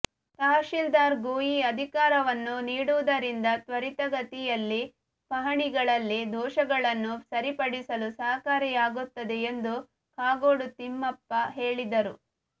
ತಹಶೀಲ್ದಾರ್ಗೂ ಈ ಅಧಿಕಾರವನ್ನು ನೀಡುವುದರಿಂದ ತ್ವರಿತಗತಿಯಲ್ಲಿ ಪಹಣಿಗಳಲ್ಲಿ ದೋಷಗಳನ್ನು ಸರಿಪಡಿಸಲು ಸಹಕಾರಿಯಾಗುತ್ತದೆ ಎಂದು ಕಾಗೋಡು ತಿಮ್ಮಪ್ಪ ಹೇಳಿದರು